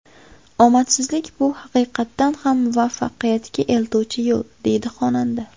Omadsizlik bu haqiqatan ham muvaffaqiyatga eltuvchi yo‘l”, deydi xonanda.